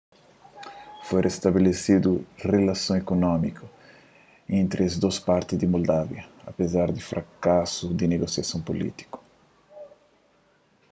foi restabelesedu rilasons ikunómiku entri es dôs parti di moldávia apezar di frakasu di negosiasons pulítiku